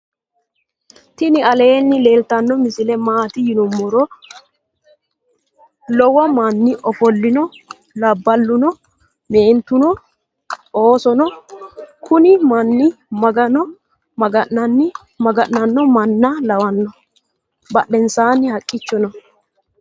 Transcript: tini aleni leltano misile matti yinnumoro. loowomani ofoolino. abbaluno noo. mentuno noo. oosono noo. kuuni maanu magano maga'nano maana lawano .badhensani haqicho noo.